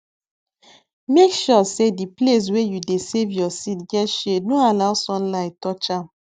make sure say di place wey you dey save your seed get shade no allow sunlight touch am